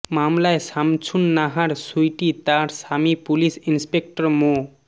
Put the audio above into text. মামলায় সামছুন নাহার সুইটি তার স্বামী পুলিশ ইন্সপেক্টর মো